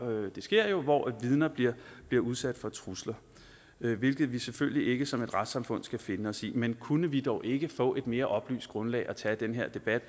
det sker jo hvor vidner bliver bliver udsat for trusler hvilket vi selvfølgelig ikke som et retssamfund skal finde os i men kunne vi dog ikke få et mere oplyst grundlag at tage den her debat